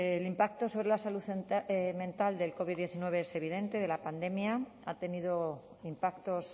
el impacto sobre la salud mental del covid diecinueve es evidente de la pandemia ha tenido impactos